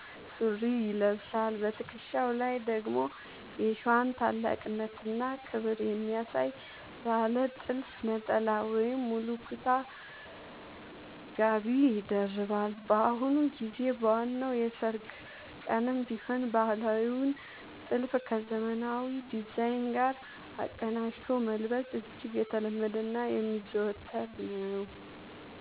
ሱሪ ይለብሳል። በትከሻው ላይ ደግሞ የሸዋን ታላቅነትና ክብር የሚያሳይ ባለ ጥልፍ ነጠላ ወይም ሙሉ ኩታ (ጋቢ) ይደርባል። በአሁኑ ጊዜ በዋናው የሠርግ ቀንም ቢሆን ባህላዊውን ጥልፍ ከዘመናዊ ዲዛይን ጋር አቀናጅቶ መልበስ እጅግ የተለመደና የሚዘወተር ነው።